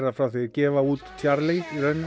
frá því þeir gefa út Charly